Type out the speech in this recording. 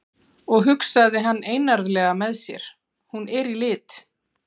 Og, hugsaði hann einarðlega með sér, hún er í lit.